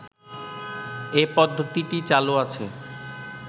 এ পদ্ধতিটি চালু আছে